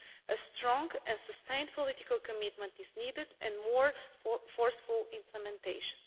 here. A strong and sustained political commitment is needed, along with more forceful implementation.